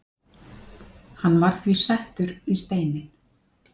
Hann var því settur í steininn